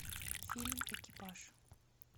фильм экипаж